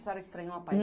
A senhora estranhou a